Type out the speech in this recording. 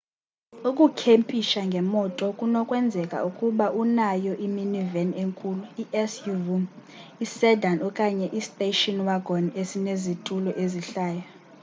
ukukhempisha ngemoto kunokwenzeka ukuba unayo i-minivan enkulu i-suv isedan okanye istation wagon esinezitulo ezihlayo